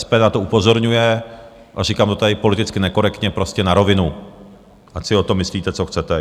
SPD na to upozorňuje a říkám to tady politicky nekorektně, prostě na rovinu, ať si o tom myslíte, co chcete.